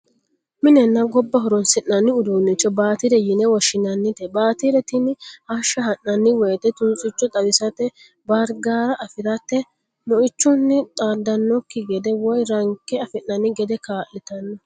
Minenna gobba horoonsi'nanni uduunnicho baatire yine woshshinannite. Baatire tini hashsha ha'nanni woyte tunsicho xawisate, baarigaara afirate, moichunni xaandannikki gede woy ranke afi'nanni gede kaa'litanno.